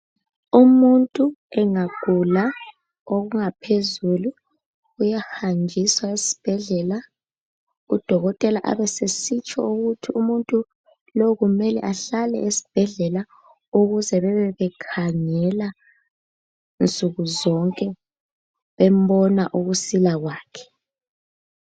Umuntu engagula okungaphezulu uyahanjiswa esibhedlela udokotela abesesitsho ukuthi umuntu lo kumele ahlale esibhedlela ukuze bebe bekhangela nsukuzonke bembona ukusila kwakhe.